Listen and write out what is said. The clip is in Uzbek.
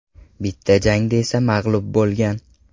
Bitta jangda esa mag‘lub bo‘lgan.